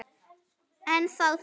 En þá það.